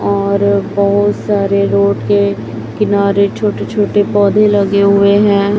और बहुत सारे रोड के किनारे छोटे छोटे पौधे लगे हुए हैं।